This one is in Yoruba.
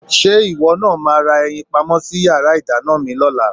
Ṣé ìwọ náà máa ra ẹyin pamọ́ sí yàrá ìdáná mi lọ́la?